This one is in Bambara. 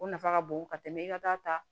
O nafa ka bon ka tɛmɛ i ka da ta